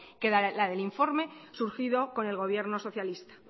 que la del informe surgido con el gobierno socialista